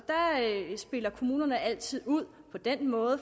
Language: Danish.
her spiller kommunerne altid ud på den måde